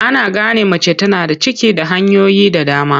Ana gane mace tana da ciki da hanyoyi da dama.